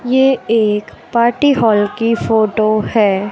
ये एक party hall की फोटो है।